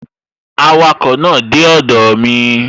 Awakọ̀ náà dé ọdọ̀ mi